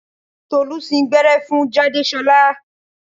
Tolú sín gbẹ́rẹ́ fún Jádesọ́lá